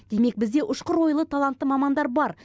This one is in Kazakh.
демек бізде ұшқыр ойлы талантты мамандар бар